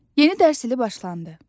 Yeni dərs ili başlandı.